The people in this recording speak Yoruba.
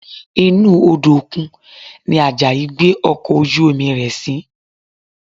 Inú Odò òkun ni Àjàyí gbé ọkọ̀ ojú-omi rẹ̀ sí